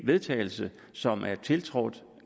vedtagelse som er tiltrådt